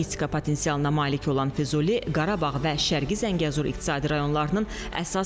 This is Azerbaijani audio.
12 hektardan çox ərazini əhatə edəcək Füzuli şəhərinin inzibati mərkəzi isə üç hissəyə bölünəcək.